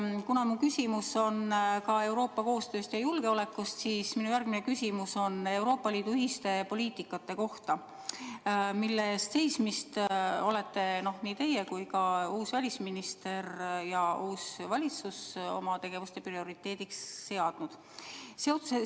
Kuna mu küsimus on ka Euroopa koostööst ja julgeolekust, siis järgmisena küsin Euroopa Liidu ühise poliitika kohta, mille eest seismise olete nii teie kui ka uus välisminister ja uus valitsus oma tegevuses prioriteediks seadnud.